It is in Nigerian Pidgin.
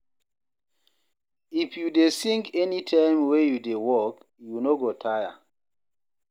If you dey sing anytime wey you dey work, you no go tire.